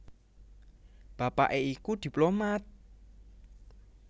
Bapaké iku diplomat